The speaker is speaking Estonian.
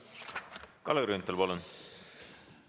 Kalle Grünthal, palun!